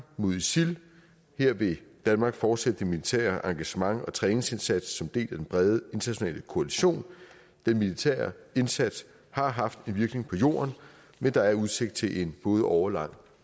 mod isil vil danmark fortsætte det militære engagement og træningsindsatsen del af den brede internationale koalition den militære indsats har haft en virkning på jorden men der er udsigt til en både årelang